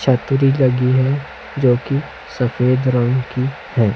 छतरी लगी है जो की सफेद रंग की है।